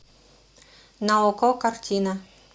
на окко картина